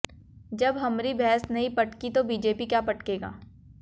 जब हमरी भैंस नहीं पटकी तो बीजेपी क्या पटकेगा